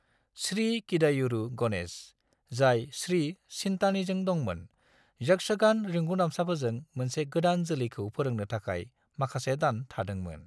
श्री किदायुरु गणेश, जाय श्री चित्तानीजों दंमोन, यक्षगान रिंगुदामसाफोरजों मोनसे गोदान जोलैखौ फोरोंनो थाखाय माखासे दान थादोंमोन।